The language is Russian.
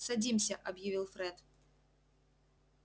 садимся объявил фред